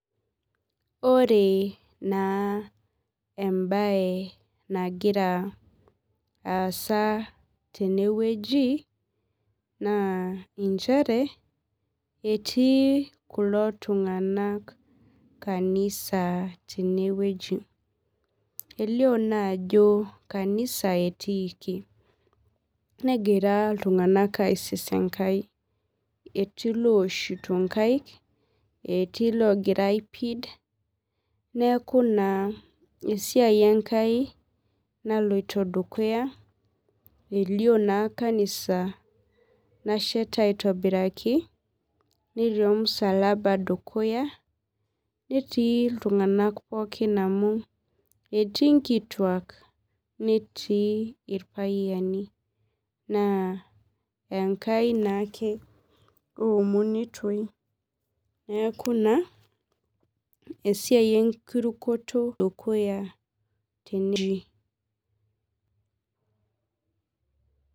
Ore na embae nagira aasa tenewueji na nchere etii kulo tunganak kanisa tenewueji elio naajo kanisa etiiki negira aserem enkai etii looshito nkaek etii logira aipid neaku esiai enkai naloto dukuya elio na kanisa nasheta aitobiraki netii ormusalaba dukuya netii ltunganak pooki amu etii nkituak netii irpayiani enkai naake eomonitoi neaku na esiai enkirukoto naloito dukuya.